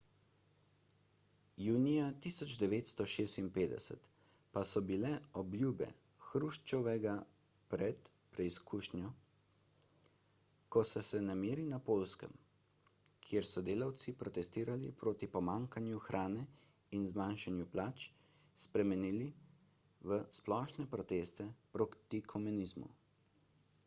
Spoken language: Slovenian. junija 1956 pa so bile obljube hruščova pred preizkušnjo ko so se nemiri na poljskem kjer so delavci protestirali proti pomanjkanju hrane in zmanjšanju plač spremenili v splošne proteste proti komunizmu